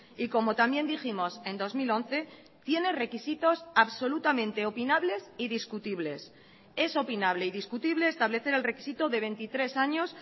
y como también dijimos en dos mil once tiene requisitos absolutamente opinables y discutibles es opinable y discutible establecer el requisito de veintitrés años